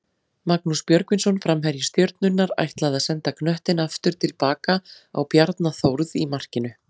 Magnús Björgvinsson framherji Stjörnunnar ætlaði að senda knöttinn aftur tilbaka á Bjarna Þórð í markinu.